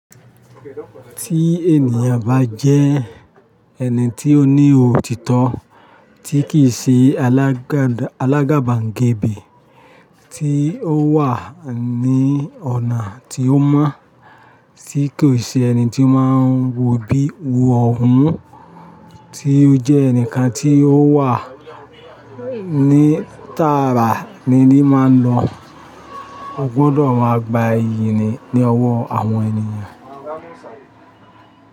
Tí ènìyàn bá jẹ́ ẹni tí ó ní òtítọ́ tí kì í ṣe alágàbàngbè, tí ó wà ní ọ̀nà tí ó mọ́, tí kò ṣe ẹni tí máa ń wò bí wò ọ̀hún, tí ó jẹ́ ẹnìkan tí ó wà ní tààrà ni lí máa ń lọ, o gbọ́dọ̀ máa gba ìyìn ni ọwọ́ àwọn ènìyàn.